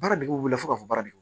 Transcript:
Baaradegew wele fo ka fɔ baara d